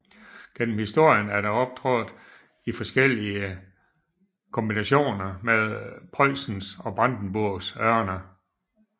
Gennem historien er det optrådt i forskellige kombinationer med Preussens og Brandenburgs ørne